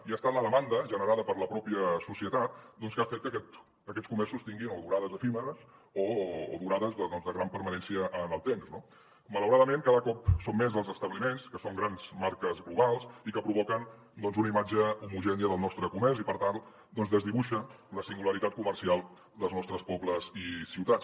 i ha estat la demanda generada per la mateixa societat que ha fet que aquests comerços tinguin o durades efímeres o durades de gran permanència en el temps no malauradament cada cop són més els establiments que són grans marques globals i que provoquen una imatge homogènia del nostre comerç i per tant desdibuixa la singularitat comercial dels nostres pobles i ciutats